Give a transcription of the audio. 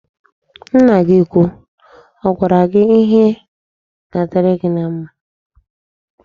Nna gị úkwú ọ gwara gị ihe ga-adịrị gị mma?